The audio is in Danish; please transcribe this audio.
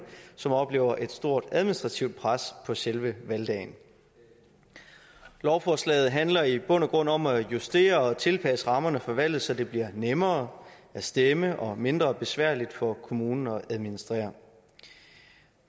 som oplever et stort administrativt pres på selve valgdagen lovforslaget handler i bund og grund om at justere og tilpasse rammerne for valget så det bliver nemmere at stemme og mindre besværligt for kommunerne at administrere